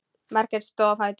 Margrét stóð á fætur.